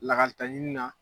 Lakalita ɲini na